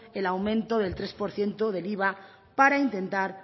el aumento del tres por ciento del iva para intentar